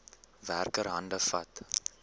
werker hande vat